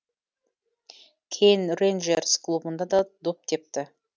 кейін рейнджерс клубында да доп тепті